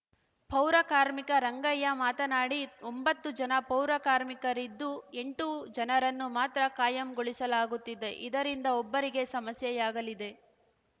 ಪೌರಕಾರ್ಮಿಕ ರಂಗಯ್ಯ ಮಾತನಾಡಿ ಒಂಬತ್ತು ಜನ ಪೌರಕಾರ್ಮಿರಿದ್ದು ಎಂಟು ಜನರನ್ನು ಮಾತ್ರ ಕಾಯಂಗೊಳಿಸಲಾಗುತ್ತಿದೆ ಇದರಿಂದ ಒಬ್ಬರಿಗೆ ಸಮಸ್ಯೆಯಾಗಲಿದೆ